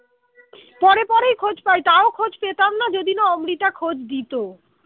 পরে পরেই খোঁজ পাই তাও খোঁজ পেতাম না যদি না অমৃতা খোজ দিত